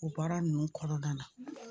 O baara ninnu kɔnɔna na